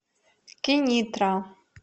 кенитра